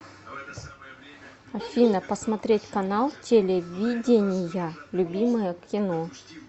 афина посмотреть канал телевидения любимое кино